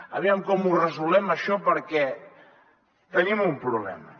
aviam com ho resolem això perquè tenim un problema